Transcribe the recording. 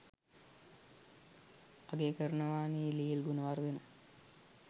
අගය කරනවානි ලීල් ගුණවර්ධන